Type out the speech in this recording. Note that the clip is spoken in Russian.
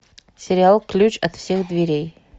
сериал ключ от всех дверей